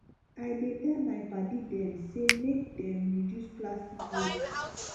i dey tell my paddy dem sey make dem reduce plastic waste